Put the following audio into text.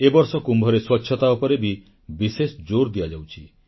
ଏ ବର୍ଷ କୁମ୍ଭରେ ସ୍ୱଚ୍ଛତା ଉପରେ ବି ବିଶେଷ ଜୋର ଦିଆଯାଇଛି